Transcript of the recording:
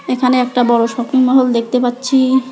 এখানে একটা বড় শপিং মহল দেখতে পাচ্ছি।